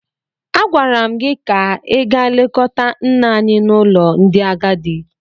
Agwara m gị ka ị gaa lekọta nne anyị n’ụlọ ndị agadi!